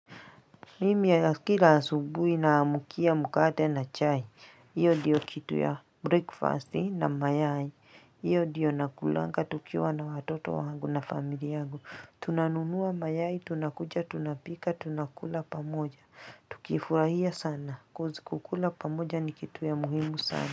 Mimi kila asubuhi naamkia mkate na chai. Iyo diyo kitu ya breakfast na mayai. Hiyo ndio nakulanga tukiwa na watoto wangu na familia yangu. Tunanunua mayai, tunakuja, tunapika, tunakula pamoja. Tukifurahia sana cause kukula pamoja ni kitu ya muhimu sana.